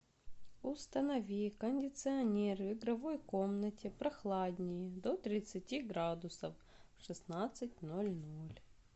установи кондиционер в игровой комнате прохладнее до тридцати градусов в шестнадцать ноль ноль